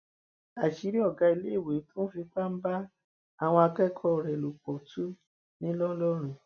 àṣírí ọgá iléèwé tó ń fipá bá àwọn akẹkọọ rẹ lò pọ tu ńlọrọrìn